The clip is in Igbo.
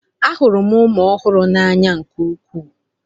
Ahụrụ m ụmụ ọhụrụ n'anya nke ukwuu.